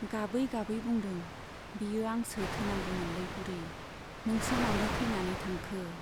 गाबै गाबै बुंदों बेयो आंसो थैनांगौमोनलै बुरि , नोंसो मानो थैनानै थांखो ?